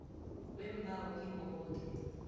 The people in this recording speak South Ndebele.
weembawo kibo boke